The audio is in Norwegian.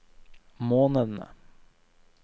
månedene